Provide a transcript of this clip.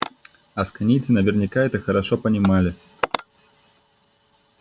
асконийцы наверняка это хорошо понимали